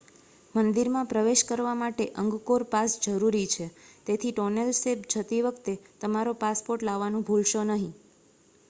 મંદિરમાં પ્રવેશ કરવા માટે અંગકોર પાસ જરૂરી છે તેથી ટોનેલ સેપ જતી વખતે તમારો પાસપોર્ટ લાવવાનું ભૂલશો નહીં